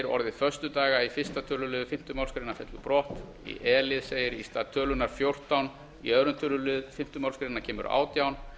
orðið föstudaga í fyrsta tölulið fimmtu málsgrein fellur brott e í stað tölunnar fjórtán í öðrum tölulið fimmtu málsgrein kemur átjánda